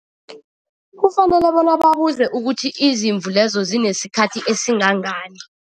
Kufanele bona babuze ukuthi izimvu lezo zinesikhathi esingangani.